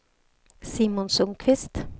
Simon Sundkvist